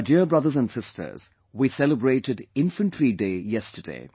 My dear brothers & sisters, we celebrated 'Infantry Day' yesterday